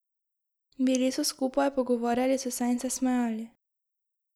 Bili so skupaj, pogovarjali so se in se smejali.